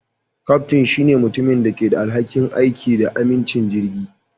Kyaftin shine mutumin da ke da alhakin aiki da amincin jirgin.